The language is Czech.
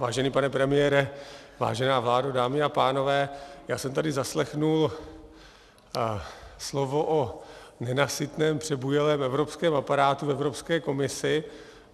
Vážený pane premiére, vážená vládo, dámy a pánové, já jsem tady zaslechl slovo o nenasytném, přebujelém evropském aparátu v Evropské komisi.